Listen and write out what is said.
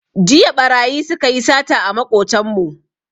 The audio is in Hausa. Jiya ɓarayi su ka yi sata a maƙotanmu